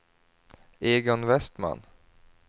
Egon Vestman